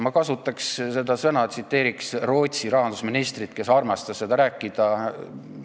Ma kasutan seda sõna ja tsiteerin Rootsi rahandusministrit, kes armastas sellest rääkida.